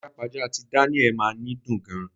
Pajápajá ti Daniel máa ni dùn gan.